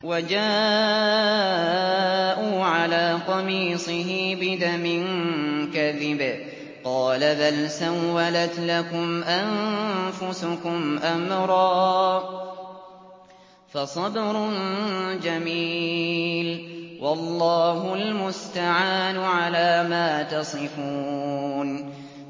وَجَاءُوا عَلَىٰ قَمِيصِهِ بِدَمٍ كَذِبٍ ۚ قَالَ بَلْ سَوَّلَتْ لَكُمْ أَنفُسُكُمْ أَمْرًا ۖ فَصَبْرٌ جَمِيلٌ ۖ وَاللَّهُ الْمُسْتَعَانُ عَلَىٰ مَا تَصِفُونَ